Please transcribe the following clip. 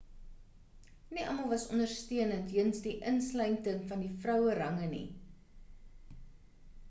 nie almal was ondersteunend jeens die insluiting van die vrouerange nie